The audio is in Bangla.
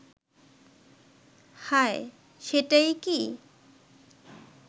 হায়, সেটাই কি